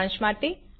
સારાંશ માટે